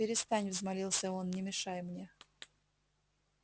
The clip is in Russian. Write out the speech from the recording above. перестань взмолился он не мешай мне